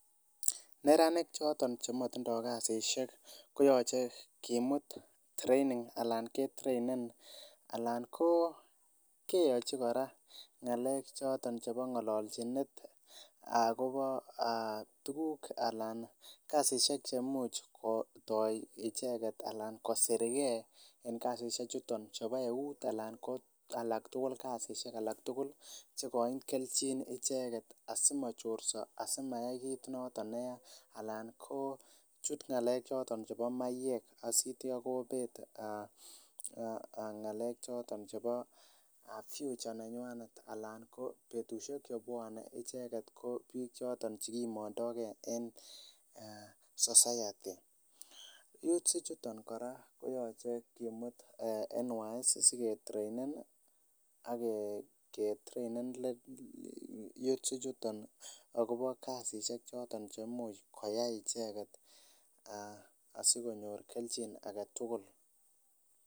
Neranik choton chemotindoo kasisiek koyoche kimut training alan ketrainen alan ko keyochi kora ng'alek choton chepo ng'ololchinet akopo aa tukuk alan kasisiek chemuch kotoi icheket alan kosirge en kasisiechuton chebo eut alan ko alak tugul kasisiek alak tugul chekoin kelchin icheket asimochorso asimayai kit noto neya alan koo chut ng'alek choton chepo maiyek asitia kobet aa ng'alek choton chepo future nenywanet alango ko betusiek chebwonee icheket ko biik chekimondooke en society, youths ichuto kora koyoche kimut icheket NWS asiketrainen ake trainen youths ichuton akopo kasisiek choton cheimuch koyai icheken asikonyor kelchin agetugul.